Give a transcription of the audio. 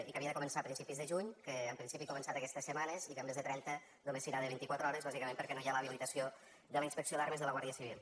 i que havia de començar a principis de juny que en principi ha començat aquestes setmanes i que en lloc de trenta només serà de vint i quatre hores bàsicament perquè no hi ha l’habilitació de la inspecció d’armes de la guàrdia civil